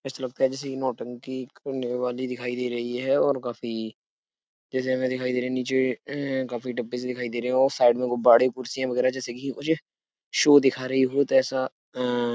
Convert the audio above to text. ऐसा लगता है जैसे ये नौटंकी करने वाली दिखाई दे रही है और काफी जैसे हमें दिखाई दे रही है नीचे अह काफी डब्बे से दिखाई दे रहे हैं और साइड में गुब्बारे कुर्सियाँ वगैरह जैसे घी मुझे शो दिखा रही हो तो ऐसा अ --